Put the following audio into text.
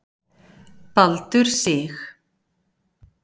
Baldur Sig